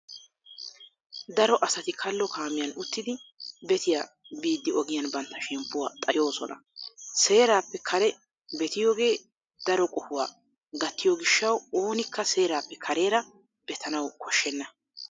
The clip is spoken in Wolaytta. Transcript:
Daro asati kallo kaamiyan uttidi betiya biiddi ogiyan bantta shemppuwa xayoosona. Seerappe kare betiyogee daro qohuwaa gattiyo gishshawu oonikka seerappe kareera betanawu koshshenna.